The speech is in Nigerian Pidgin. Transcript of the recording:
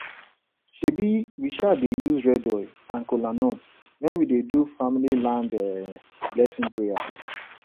um we um dey use red oil and kola nut when we dey do family land um blessing prayer